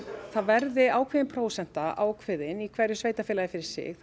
það verði ákveðin prósenta ákveðin í hverju sveitarfélagi fyrir sig